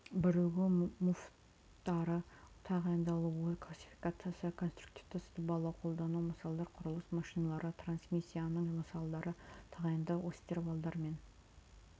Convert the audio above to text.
бірігу муфттары тағайындалуы классификациясы конструктивті сызбалары қолдану мысалдары құрылыс машиналары трансмиссиясының мысалдары тағайындау осьтер валдар мен